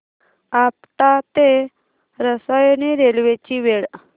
आपटा ते रसायनी रेल्वे ची वेळ